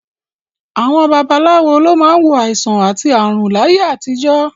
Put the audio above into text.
Àwọn babaláwo ló máa ń wo àìsàn àti ààrùn láyé àtijọ́